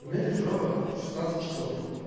меня держала шестнадцать часов